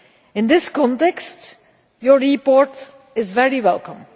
In this context your report is very welcome.